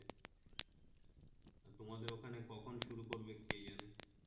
তোমাদের ওখানে কখন শুরু করবে কে জানে